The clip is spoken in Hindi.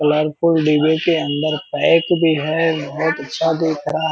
कलरफुल डिब्बे के अंदर पैक भी है। बहुत अच्छा दिख रहा --